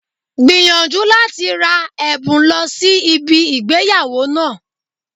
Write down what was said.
Gbìyànjú láti ra èbùn lọ sí ibi ìgbéyàwó náà